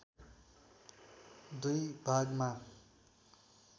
दुई भागमा